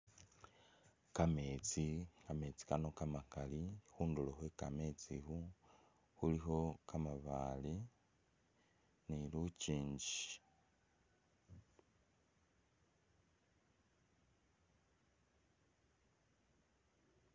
Kametsi kamesti kano kamakali khunduro khwe kamesti khu khulikho kamabale ni lukyingi .